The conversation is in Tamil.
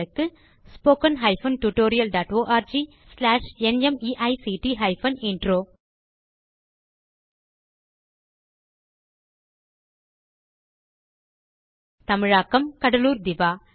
spoken hyphen tutorial dot org slash நிமைக்ட் ஹைபன் இன்ட்ரோ தமிழாக்கம் கடலூர் திவா